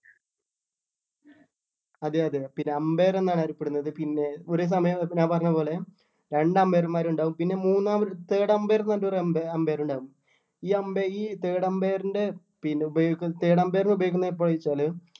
അതെ അതെ പിന്നെ umpire എന്നാണ് അറിയപ്പെടുന്നത് പിന്നേ ഒരേ സമയം ഇപ്പൊ ഞാൻ പറഞ്ഞ പോലെ രണ്ട് umpire മാരുണ്ടാവും പിന്നെ മൂന്നാമത് ഒരു third umpire എന്ന് പറഞ്ഞിട്ട് ഒരു അമ്പെ umpire ഉണ്ടാവും ഈ അമ്പെ ഈ third umpire ൻ്റെ പിന്നെ ഉപയോഗിക്കു പിന്നെ third umpire നെ ഉപയോഗിക്കുന്നത് എപ്പഴാ ചോദിച്ചാല്